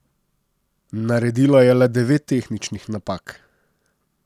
Naredila je le devet tehničnih napak.